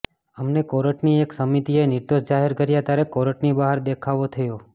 એમને કોર્ટની એક સમિતિએ નિર્દોષ જાહેર કર્યા ત્યારે કોર્ટની બહાર દેખાવો થયા